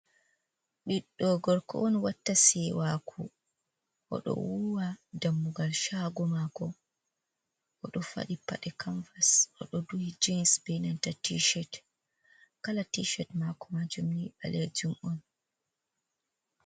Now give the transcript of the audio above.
"Ɓiɗɗo gorko" on watta se waaku oɗo wuwa dammugal shaago mako oɗo fadi paɗe kamvas oɗo duhi jins be nanta tishet kala tishet mako majum ni ɓalejum on.